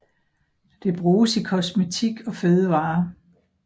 Det bruges i kosmetik og fødevarer